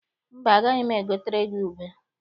Mba, agaghị m egotere gị ube.